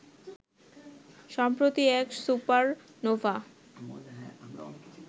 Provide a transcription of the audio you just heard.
সম্প্রতি এক সুপারনোভা